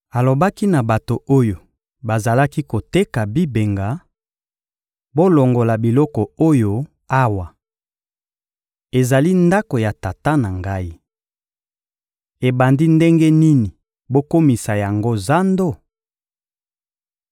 Alobaki na bato oyo bazalaki koteka bibenga: «Bolongola biloko oyo awa! Ezali Ndako ya Tata na Ngai! Ebandi ndenge nini bokomisa yango zando?»